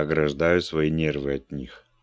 ограждаю свои нервы от них